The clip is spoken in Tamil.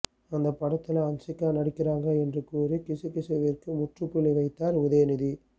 அந்தப் படத்துல ஹன்சிகா நடிக்கிறாங்க என்று கூறி கிசுகிசுவிற்கு முற்றுப்புள்ளி வைத்தார் உதயநிதி